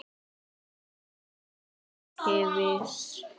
Hann var ekki viss.